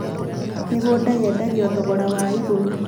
mĩgũnda yendagio thogora wa igũrũ